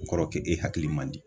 O kɔrɔ k'e hakili man di.